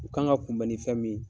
U kan ka kunbɛn ni fɛn min